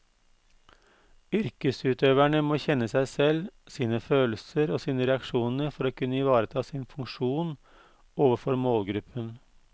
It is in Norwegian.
Yrkesutøverne må kjenne seg selv, sine følelser og sine reaksjoner for å kunne ivareta sin funksjon overfor målgruppen.